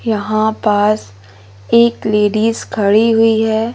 यहां पास एक लेडिस खड़ी हुई है।